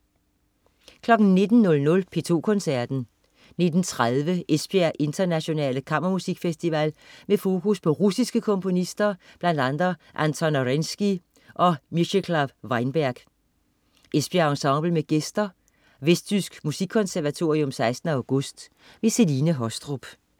19.00 P2 Koncerten. 19.30 Esbjerg Internationale Kammermusikfestival med fokus på russiske komponister, bl.a. Anton Arensky og Mieczysklaw Weinberg. Esbjerg Ensemble med gæster. (Vestjysk Musikkonservatorium 16. august). Celine Haastrup